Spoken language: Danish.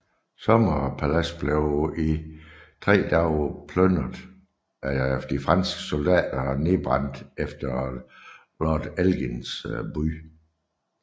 Sommerpaladset blev i 3 dage plyndret af de franske soldater og nedbrændt efter lord Elgins bud